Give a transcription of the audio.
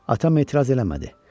Atam etiraz eləmədi.